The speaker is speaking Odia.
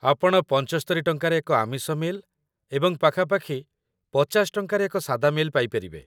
ଆପଣ ୭୫ ଟଙ୍କାରେ ଏକ ଆମିଷ ମିଲ୍‌ ଏବଂ ପାଖାପାଖି ୫୦ ଟଙ୍କାରେ ଏକ ସାଦା ମିଲ୍‌ ପାଇପାରିବେ |